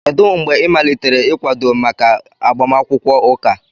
Kedụ mgbe ị malitere ịkwado maka agbamakwụkwọ ụka a?